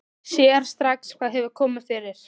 Sér strax hvað hefur komið fyrir.